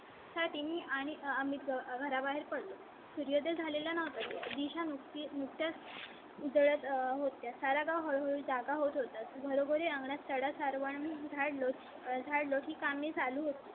साठी आणि आम्ही घराबाहेर पडतो. सूर्य झालेला नाही. दिशा नक्की नुकताच उजळत होत्या. सारा गाव हळहळ जागा होत होता बरोबरी नाष्टा सर्वांना चंद लोट काम ही चालू होते.